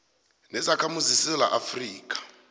nezakhamuzi zesewula afrika